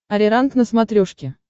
ариранг на смотрешке